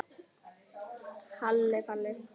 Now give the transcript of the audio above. Halli Palli.